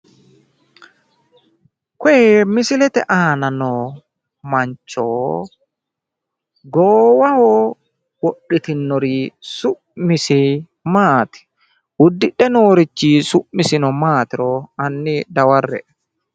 koye misilete aana no mancho goowaho wodhite noori su'misi maati? uddidhe noorrichino su'misi maaatiro hanni dawarre'e